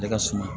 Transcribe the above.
Ne ka suma